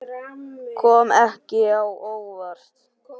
Kom ekki á óvart.